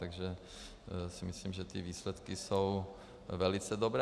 Takže si myslím, že ty výsledky jsou velice dobré.